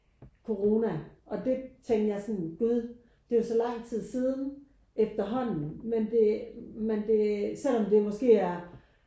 Corona og det tænkte jeg sådan gud det er jo så lang tid siden efterhånden men det men det selvom det måske er